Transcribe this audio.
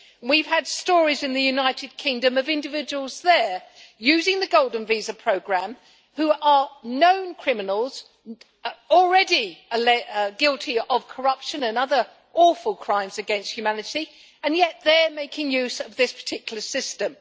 We have had stories in the United Kingdom of individuals there using the golden visa programme who are known criminals, already guilty of corruption and other awful crimes against humanity, and yet they are making use of this particular system.